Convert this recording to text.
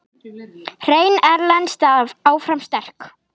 Hrein erlend staða áfram sterk.